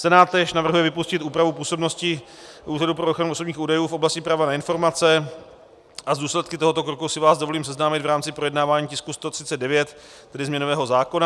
Senát též navrhuje vypustit úpravu působnosti Úřadu pro ochranu osobních údajů v oblasti práva na informace a s důsledky tohoto kroku si vás dovolím seznámit v rámci projednávání tisku 139, tedy změnového zákona.